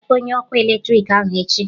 ị ga-akpọ onye ọkụ eletrik ahụ echi?